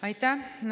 Aitäh!